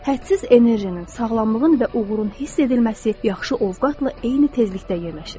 Hədsiz enerjinin, sağlamlığın və uğurun hiss edilməsi yaxşı ovqatla eyni tezlikdə yerləşir.